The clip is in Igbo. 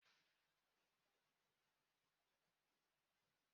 Ee, a na m esị ofe onugbu